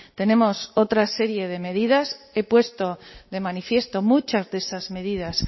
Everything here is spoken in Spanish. tenemos otra serie de medidas he puesto de manifiesto muchas de esas medidas